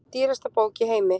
Dýrasta bók í heimi